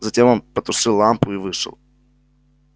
затем он потушил лампу и вышел